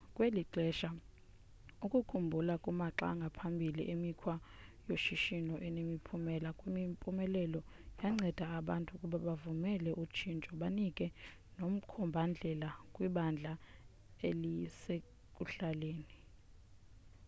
kweli xesha ukukhumbula kumaxa angaphambili emikhwa yoshishino enemiphumela kwimpumelelo yanceda abantu ukuba bavumele utshintsho banike nomkhomba ndlela kwibandla elisekuhlaleni